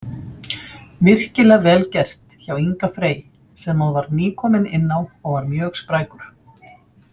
Virkilega vel gert hjá Inga Frey sem að var nýkominn inná og var mjög sprækur.